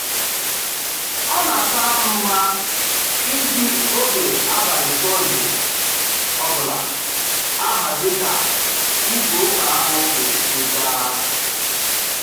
Ọ na-akara m mma iji oge abalị Sọnde ọbụla ahazi ka izu ụka ahụ ga-esi gaa